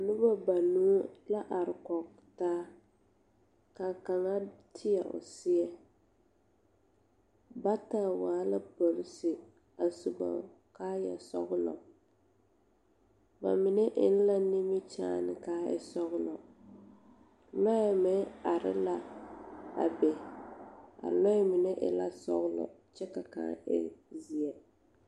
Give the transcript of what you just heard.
Noba banuu la are kɔŋ taa ka kaŋa teɛ o seɛ bata waa la polisire su ba kaaya sɔglɔ ba mine eŋ la nimikyaane ka e sɔglɔ lɔɛ meŋ are la a be a lɔɛ mine e la sɔglɔ kyɛ ka kaŋ e zeɛ.